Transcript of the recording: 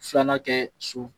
Filanan kɛ so